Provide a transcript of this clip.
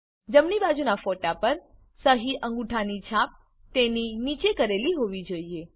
જમણી બાજુનાં ફોટા પર સહીઅંગૂઠાની છાપ તેની નીચે કરેલી હોવી જોઈએ